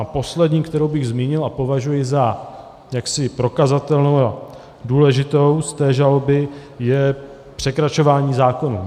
A poslední, kterou bych zmínil a považuji za jaksi prokazatelnou a důležitou z té žaloby, je překračování zákonů.